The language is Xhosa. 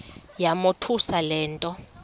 yamothusa le nto